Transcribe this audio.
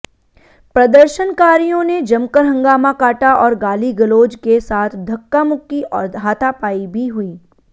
प्रदर्शनकारियों ने जमकर हंगामा काटा और गाली गलौज के साथ धक्कामुक्की और हाथापाई भी हुई